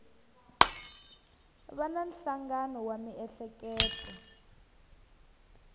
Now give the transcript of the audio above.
va na nhlangano wa miehleketo